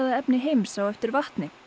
efni heims á eftir vatni